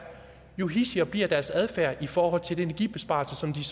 jo hidsigere bliver deres adfærd i forhold til den energibesparelse som de